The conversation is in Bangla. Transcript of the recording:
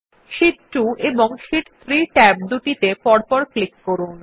শীট 2 এবং শীট 3 ট্যাব দুটিতে পরপর ক্লিক করুন